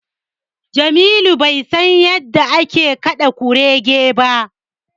Jamilu bai san yadda ake kaɗa Kuge ba.